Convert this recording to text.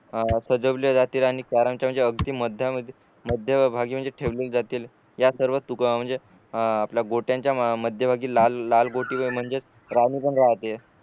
सजवल्या जाते आणि राणी कॅरम च्या अगदी मध्यामधी मध्यभागी म्हणजे ठेवली जाते या सर्व तुकड्या म्हणजे आपल्या गोट्यांच्या मध्यभागी लाल लाल गोटी पण म्हणजेच राणी पण राहते